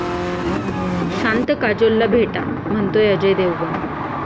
शांत काजोलला भेटा, म्हणतोय अजय देवगण!